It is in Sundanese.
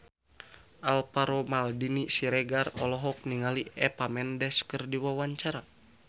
Alvaro Maldini Siregar olohok ningali Eva Mendes keur diwawancara